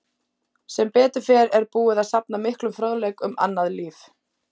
Sem betur fer er búið að safna miklum fróðleik um annað líf.